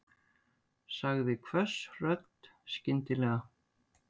sagði hvöss rödd skyndilega.